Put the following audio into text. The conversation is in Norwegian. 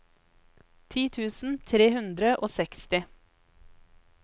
ti tusen tre hundre og seksti